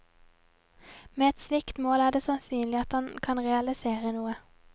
Med et slikt mål er det sannsynlig at han kan realisere noe.